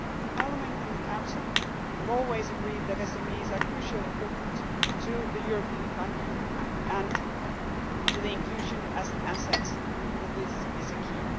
Parliament and the Council have always agreed that SMEs are crucially important to the European economy and so their inclusion as an asset within this is key.